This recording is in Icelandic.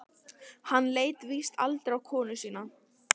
Hann leit víst aldrei á konu sína.